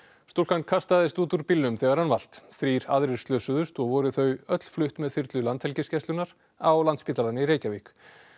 stúlkan kastaðist út úr bílnum þegar hann valt þrír aðrir slösuðust og voru þau öll flutt með þyrlu Landhelgisgæslunnar á Landspítalann í Reykjavík